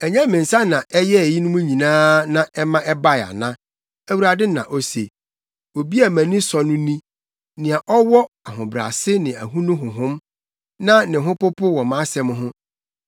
Ɛnyɛ me nsa na ɛyɛɛ eyinom nyinaa, na ɛma ɛbae ana?” Awurade na ose. “Obi a mʼani sɔ no ni: nea ɔwɔ ahobrɛase ne ahonu honhom, na ne ho popo wɔ mʼasɛm ho.